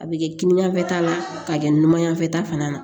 A bɛ kɛ kinin yan fan fɛ ta la k'a kɛ numan yanfɛta fana na